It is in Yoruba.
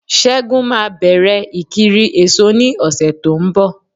Ṣẹ́gun ma bẹ̀rẹ̀ ìkiri èso ní ọ̀sẹ̀ tó ń bọ̀